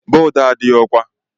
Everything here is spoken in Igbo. Bọd a adịghị ọkwà.